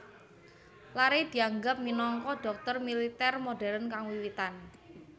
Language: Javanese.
Larrey dianggep minangka dhokter militer modern kang wiwitan